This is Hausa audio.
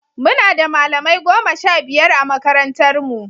Muna da malamai goma sha biyar a makarantarmu.